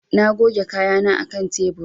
Na goge kayana a kan tebur.